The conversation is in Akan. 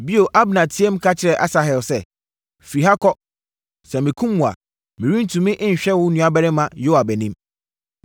Bio, Abner teaam ka kyerɛɛ Asahel sɛ, “Firi ha kɔ! Sɛ mekum wo a, merentumi nhwɛ wo nuabarima Yoab anim.”